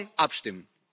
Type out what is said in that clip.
Morgen abstimmen!